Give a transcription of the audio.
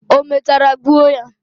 Omechara gbuo ya?